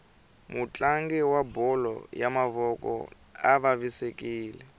mutlangi wa bolo ya mavoko uvavisekile